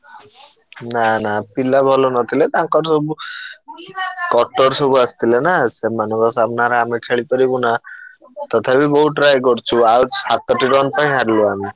ନା ନା ପିଲା ଭଲ ନଥିଲେ ତାଙ୍କର ସବୁ କଟର ସବୁ ଆସିଥିଲେ ନା ସେମାନଙ୍କ ସାମ୍ନାରେ ଆମେ ଖେଳିପାରିବୁନା ତଥାପି ବହୁତ try କରିଛୁ। ଆଉ ସାତଟି run ପାଇଁ ହାରିଲୁ ଆମେ।